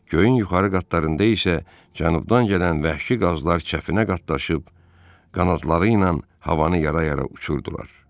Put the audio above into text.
Göyün yuxarı qatlarında isə cənubdan gələn vəhşi qazlar çətinə qatlaşıb, qanadları ilə havanı yara-yara uçurdular.